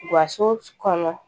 Gaso kɔnɔ